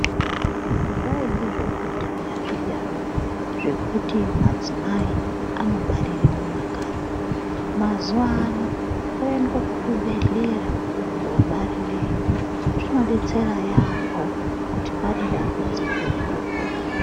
Zvaiya zvekudhaya zviya zvekuti madzimai anobarire mumakanyi, mazuvano koendwe kuzvibhedhlera koobarireyo, zvinodetsera yeyamho kuti pane dambudziko riripo.